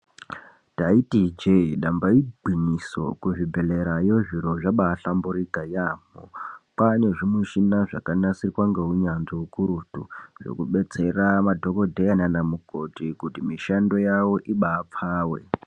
Ndaiti ijee damba igwinyiso, kuzvibhadhlera yoo zviro zvabaa hlamburuka yaamho. Kwaane zvimushina zvakanasirwa ngeunyanzvi ukurutu zvekudetsera madhokodheya nana mukoti kuti mishando yavo ibaa pfave.